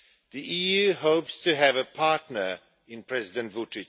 The EU hopes to have a partner in President Vučić.